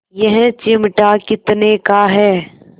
यह चिमटा कितने का है